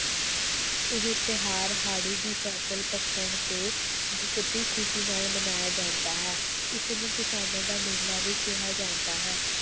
ਇਹ ਤਿਉਹਾਰ ਹਾੜੀ ਦੀ ਫਸਲ ਪੱਕਣ ਤੇ ਬਹੁਤ ਹੀ ਖ਼ੁਸ਼ੀ ਨਾਲ ਮਨਾਇਆ ਜਾਂਦਾ ਹੈ ਇਸ ਨੂੰ ਕਿਸਾਨਾਂ ਦਾ ਮੇਲਾ ਵੀ ਕਿਹਾ ਜਾਂਦਾ ਹੈ।